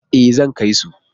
E, zan kai su.